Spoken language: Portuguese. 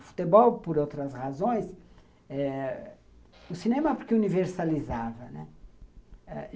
O futebol, por outras razões eh... O cinema porque universalizava, né?